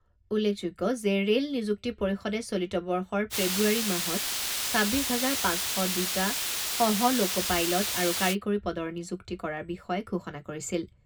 উল্লেখযোগ্য যে ৰে'ল নিযুক্তি পৰিষদে চলিত বৰ্ষৰ ফেব্ৰুৱাৰী মাহত ছাব্বিছ হাজাৰ পাঁচ শ দুটা সহঃ ল'ক'-পাইলট আৰু কাৰিকৰী পদৰ নিযুক্তি কৰাৰ বিষয়ে ঘোষণা কৰিছিল।